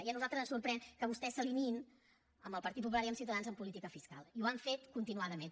i a nosaltres ens sorprèn que vostès s’alineïn amb el partit popular i amb ciutadans en política fiscal i ho han fet continuadament